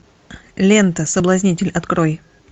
лента соблазнитель открой